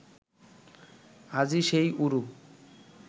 আজি সেই ঊরু